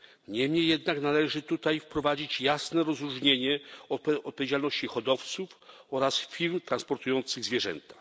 Niemniej jednak należy tutaj wprowadzić jasne rozróżnienie odpowiedzialności hodowców oraz firm transportujących zwierzęta.